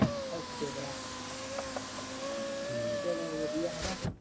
ok ਭਰਾ ਹਮ ਚਲੋ ਵਧੀਆ ਹੈਨਾ